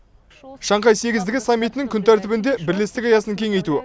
шанхай сегіздігі саммитінің күн тәртібінде бірлестік аясын кеңейту